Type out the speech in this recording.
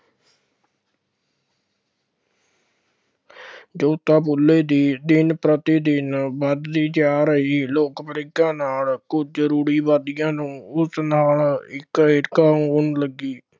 ਜੋਤੀਬਾ ਫੂਲੇ ਦੀ ਦਿਨ ਪ੍ਰਤੀਦਿਨ ਵੱਧਦੀ ਜਾ ਰਹੀ ਲੋਕਪ੍ਰਿਅਤਾ ਨਾਲ ਕੁੱਝ ਰੂੜ੍ਹੀਵਾਦੀਆਂ ਨੂੰ ਉਸ ਨਾਲ ਇੱਕ ਈਰਖਾ ਹੋਣ ਲੱਗੀ।